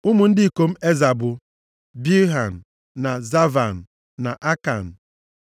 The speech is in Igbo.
Ụmụ ndị ikom Eza bụ, Bilhan na Zaavan na Akan.